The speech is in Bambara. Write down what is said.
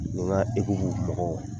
n ka mɔgɔw